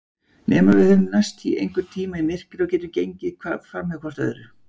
Nema við höfum mæst einhvern tíma í myrkri og gengið framhjá hvort öðru.